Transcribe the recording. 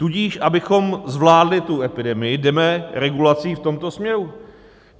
Tudíž abychom zvládli tu epidemii, jdeme regulací v tomto směru.